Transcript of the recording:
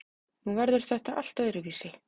Nú verður þetta allt öðruvísi.